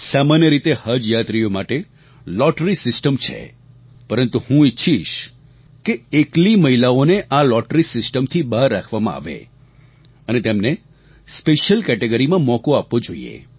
સામાન્ય રીતે હજ યાત્રીઓ માટે લોટરી સિસ્ટમ છે પરંતુ હું ઈચ્છીશ કે એકલી મહિલાઓ ને આ લોટરી સિસ્ટમ થી બહાર રાખવામાં આવે અને તેમને સ્પેશિયલ કેટેગરી માં મોકો આપવો જોઈએ